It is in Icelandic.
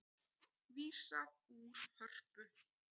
Vísað úr Hörpu